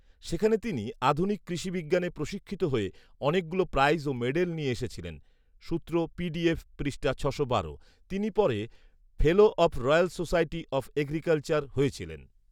সেখানে তিনি আধুনিক কৃষিবিজ্ঞানে প্রশিক্ষিত হয়ে অনেকগুলো প্রাইজ ও মেডেল নিয়ে এসেছিলেন সূত্র পৃষ্ঠা ছশো বারো। তিনি পরে ‘fellow of Royal Society of Agriculture’ হয়েছিলেন